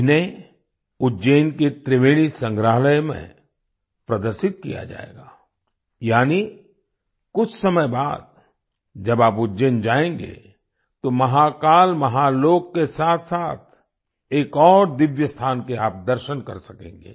इन्हें उज्जैन के त्रिवेणी संग्रहालय में प्रदर्शित किया जाएगा यानि कुछ समय बाद जब आप उज्जैन जाएंगे तो महाकाल महालोक के साथसाथ एक और दिव्य स्थान के आप दर्शन कर सकेंगे